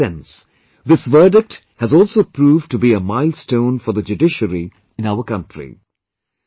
In the truest sense, this verdict has also proved to be a milestone for the judiciary in our country